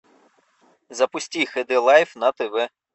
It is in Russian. запусти хд лайф на тв